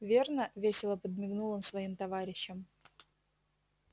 верно весело подмигнул он своим товарищам